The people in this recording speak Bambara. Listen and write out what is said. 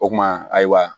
O kuma ayiwa